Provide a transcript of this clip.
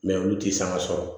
Mɛ olu ti sanga sɔrɔ